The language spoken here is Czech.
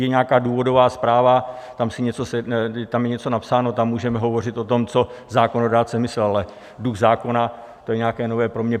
Je nějaká důvodová zpráva, tam je něco napsáno, tam můžeme hovořit o tom, co zákonodárce myslel, ale duch zákona, to je nějaké nové pro mě.